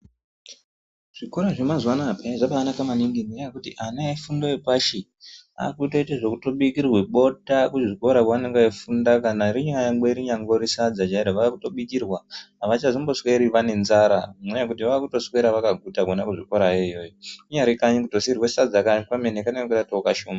Zvikora zvemazuwa anawa peya zvabanaka maningi ngokuti ana efundo yepashi akutoite zvekutobikirwe bota kuzvikora kwaanenge eifunda kana rinyangwe rinyangori sadza chairo vakutobikirwa avachazombosweri vane nzara ngenyaya yekuti vakutoswera vakaguta kona kuzvikora iyoyo kunyari kanyi kutosiirwa sadza kwemene kanenge katowo kashoma.